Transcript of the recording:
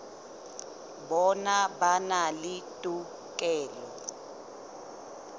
bona ba na le tokelo